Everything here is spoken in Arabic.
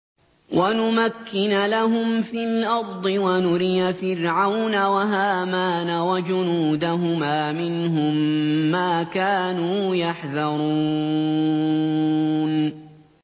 وَنُمَكِّنَ لَهُمْ فِي الْأَرْضِ وَنُرِيَ فِرْعَوْنَ وَهَامَانَ وَجُنُودَهُمَا مِنْهُم مَّا كَانُوا يَحْذَرُونَ